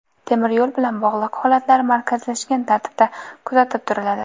Temir yo‘l bilan bog‘liq holatlar markazlashgan tartibda kuzatib turiladi.